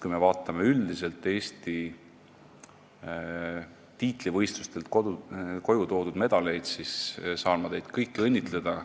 Kui me vaatame üldiselt tiitlivõistlustelt koju toodud medaleid, siis ma saan teid kõiki õnnitleda.